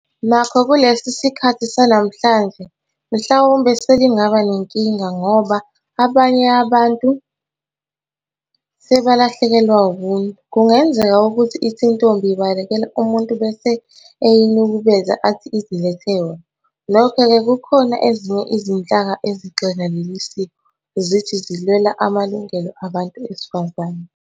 Nokho kulesi sikhathi sanamhlanje mhlawumbe selingaba nenkinga ngoba abanye abantu sebalahlekelwa ubuntu. Kungenzeka ukuthi ithi intombi ibalekela umuntu bese eyinukubeza athi izilethe yona. Nokho-ke kukhona ezinye izinhlaka ezigxeka leli siko, zithi zilwela amalungelo abantu besifazane.